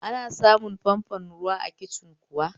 Ana samun famfon ruwa a kicin kuwa?